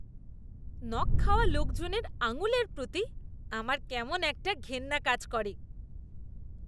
নখ খাওয়া লোকজনের আঙুলের প্রতি আমার কেমন একটা ঘেন্না কাজ করে।